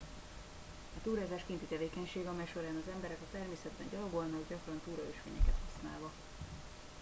a túrázás kinti tevékenység amely során az emberek a természetben gyalogolnak gyakran túraösvényeket használva